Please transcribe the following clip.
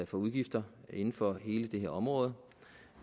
for udgifter inden for hele det her område